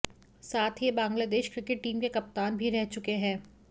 साथ ही ये बांग्लादेश क्रिकेट टीम के कप्तान भी रह चूके है